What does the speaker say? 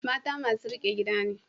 Mata masu riƙe gida ne.